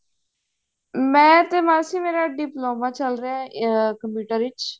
ਮੈਂ ਤੇ ਮਾਸੀ ਮੇਰਾ diploma ਚੱਲ ਰਿਹਾ ਅਮ computer ਵਿੱਚ